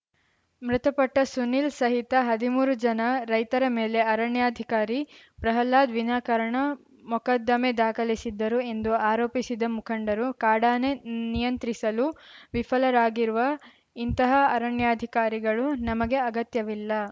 ಮೃತಪಟ್ಟಸುನೀಲ್‌ ಸಹಿತ ಹದಿಮೂರು ಜನ ರೈತರ ಮೇಲೆ ಅರಣ್ಯಾಧಿಕಾರಿ ಪ್ರಹ್ಲಾದ್‌ ವಿನಾಕಾರಣ ಮೊಕದ್ದಮೆ ದಾಖಲಿಸಿದ್ದರು ಎಂದು ಆರೋಪಿಸಿದ ಮುಖಂಡರು ಕಾಡಾನೆ ನಿಯಂತ್ರಿಸಲು ವಿಫಲರಾಗಿರುವ ಇಂತಹ ಅರಣ್ಯಾಧಿಕಾರಿಗಳು ನಮಗೆ ಅಗತ್ಯವಿಲ್ಲ